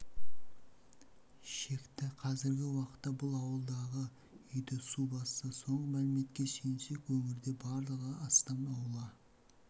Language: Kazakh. шекті қазіргі уақытта бұл ауылдағы үйді су басты соңғы мәліметке сүйенсек өңірде барлығы астам аула